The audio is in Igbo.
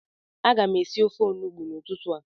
Aga m esi ofe Onugbu n'ụtụtụ a